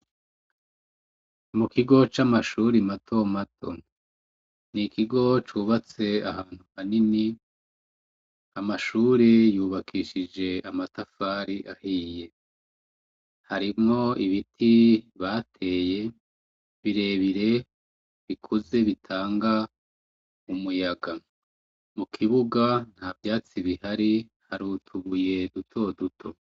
Mu kigo c'amashuri mato mato ni ikigo cubatse ahantu hanini amashuri yubakishije amatafari ahiye harimwo ibiti bateye birebire bikuze bitanga umuyaga mu kibuga nta vyatsi bihari harutubuye dutoduto.